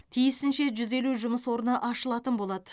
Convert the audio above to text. тиісінше жүз елу жұмыс орны ашылатын болады